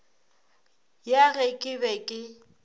ya ge ke be ke